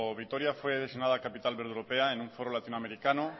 vitoria fue designada capital verde europea en un foro latinoamericano